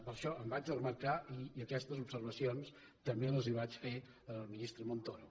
per això me’n vaig desmarcar i aquestes observacions també les vaig fer al ministre montoro